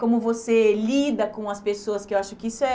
Como você lida com as pessoas, que eu acho que isso é